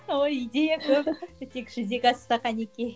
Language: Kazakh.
ой идея көп тек жүзеге асса кәнекей